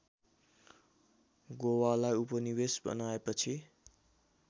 गोवालाई उपनिवेश बनाएपछि